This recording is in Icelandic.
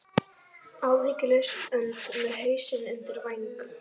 Áhyggjulaus önd með hausinn undir væng.